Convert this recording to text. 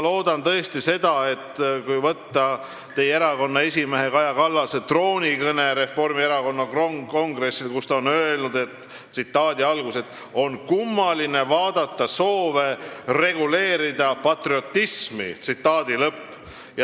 Teie erakonna esimees Kaja Kallas ütles oma troonikõnes Reformierakonna kongressil, et on kummaline vaadata soove reguleerida patriotismi.